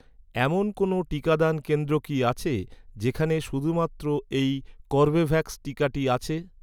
এমন কোনও টিকাদান কেন্দ্র কি আছে, যেখানে শুধুমাত্র এই কর্বেভ্যাক্স টিকাটি আছে?